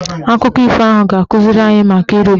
Akụkọ ifo ahụ ga-akụziri anyị maka irube isi